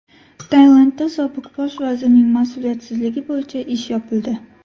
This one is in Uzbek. Tailandda sobiq bosh vazirning mas’uliyatsizligi bo‘yicha ish yopildi.